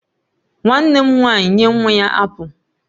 Nwannem nwanyi nye nwa ya apụl